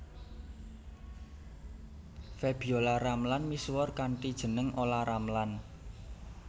Febiola Ramlan misuwur kanthi jeneng Olla Ramlan